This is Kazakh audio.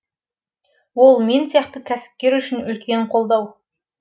ол мен сияқты кәсіпкер үшін үлкен қолдау